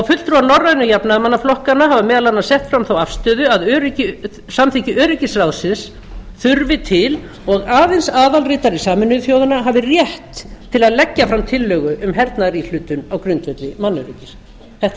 fulltrúar norrænu jafnaðarmannaflokkanna hafa meðal annars sett fram þá afstöðu að samþykki öryggisráðsins þurfi til og aðild aðalritari sameinuðu þjóðanna hafi rétt til að leggja fram tillögu um hernaðaríhlutun á grundvelli mannöryggis þetta